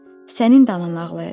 Sənin də anan ağlayacaq.